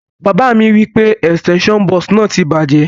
Bàbá mi wipe extension box náà ti bàjẹ́